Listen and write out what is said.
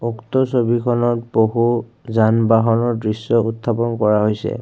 উক্ত ছবিখনত বহু যান বাহনৰ দৃশ্য উঠাপন কৰা হৈছে।